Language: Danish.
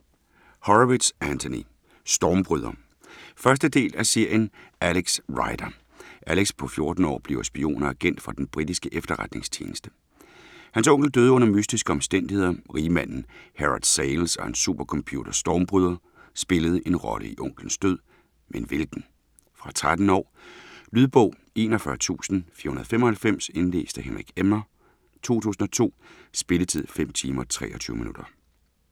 Horowitz, Anthony: Stormbryder 1. del af serien Alex Rider. Alex på 14 år bliver spion og agent for den britiske efterretningstjeneste. Hans onkel døde under mystiske omstændigheder. Rigmanden Herod Sayles og hans supercomputer, Stormbryder, spillede en rolle i onklens død, men hvilken? Fra 13 år. Lydbog 41495 Indlæst af Henrik Emmer, 2002. Spilletid: 5 timer, 23 minutter.